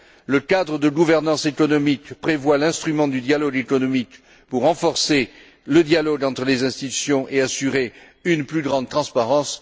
Le cadre de gouvernance économique prévoit l'instrument du dialogue économique pour renforcer le dialogue entre les institutions et assurer une plus grande transparence.